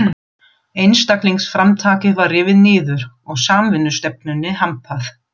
Einstaklingsframtakið var rifið niður og samvinnustefnunni hampað.